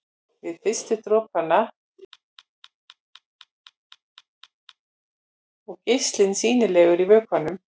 Við fyrstu dropana verður vökvinn gráleitur og geislinn sýnilegur í vökvanum.